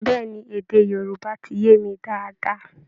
Bẹ́ẹ̀ ni, èdè Yorúbá ti yé mi dáadáa